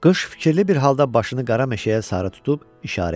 Qış fikirli bir halda başını qara meşəyə sarı tutub işarə etdi.